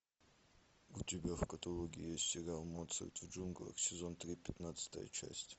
у тебя в каталоге есть сериал моцарт в джунглях сезон три пятнадцатая часть